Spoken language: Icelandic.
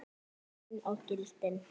Tíminn og gildin